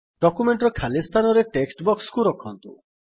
ଡକ୍ୟୁମେଣ୍ଟର ଖାଲି ସ୍ଥାନରେ ଟେକ୍ସଟ୍ ବକ୍ସକୁ ରଖନ୍ତୁ